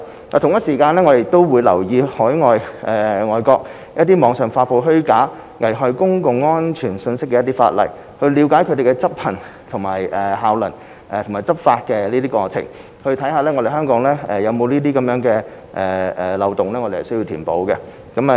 我們亦會留意外國網上發布虛假及危害公共安全信息的一些法例，了解其效能及執法過程，看看香港有否漏洞需要填補。